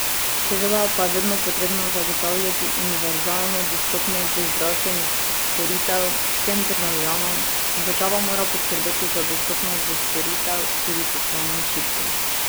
Seveda pa je vedno potrebno zagotavljati univerzalno dostopnost do zdravstvenih storitev vsem državljanom, država mora poskrbeti za dostopnost do storitev tudi socialno šibkim.